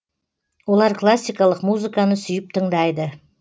олар классикалық музыканы сүйіп тыңдайды